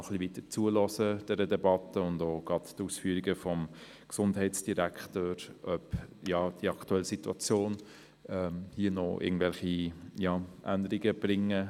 Wir werden der Debatte und den Ausführungen des Gesundheitsdirektors noch weiter zuhören, um festzustellen, ob die aktuelle Situation noch Änderungen bringt.